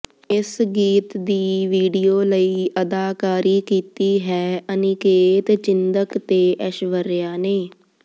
ਇਸ ਗੀਤ ਦੀ ਵੀਡੀਓ ਲਈ ਅਦਾਕਾਰੀ ਕੀਤੀ ਹੈ ਅਨਿਕੇਤ ਚਿੰਦਕ ਤੇ ਐਸ਼ਵਰਿਆ ਨੇ